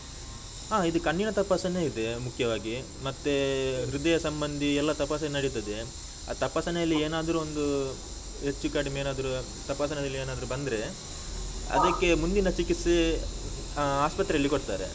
ಆ ಇದು ಕಣ್ಣಿನ ತಪಾಸಣೆ ಇದೆ ಮುಖ್ಯವಾಗಿ, ಮತ್ತೇ ಹೃದಯ ಸಂಬಂಧಿ ಎಲ್ಲ ತಪಾಸಣೆ ನಡೀತದೆ, ಆ ತಪಾಸಣೆಯಲ್ಲಿ ಏನಾದ್ರು ಒಂದು ಹೆಚ್ಚುಕಡಿಮೆ ಏನಾದ್ರು ತಪಾಸಣೆಯಲ್ಲಿ ಏನಾದ್ರು ಬಂದ್ರೆ, ಅದಕ್ಕೆ ಮುಂದಿನ ಚಿಕಿತ್ಸೆ ಆ ಆಸ್ಪತ್ರೆಯಲ್ಲಿ ಕೊಡ್ತಾರೆ.